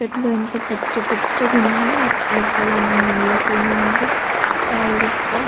చెట్లు ఎంత పచ్చపచ్చ గ ఉన్నాయి ఎదురుగా నేల కూడా ఉంది. స్టైలిష్ గ --